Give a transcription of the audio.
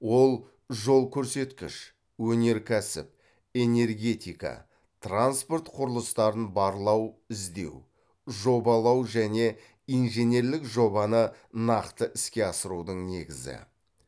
ол жол көрсеткіш өнеркәсіп энергетика транспорт құрылыстарын барлау іздеу жобалау және инженерлік жобаны нақты іске асырудың негізі